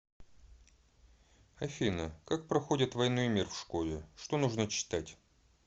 афина как проходят войну и мир в школе что нужно читать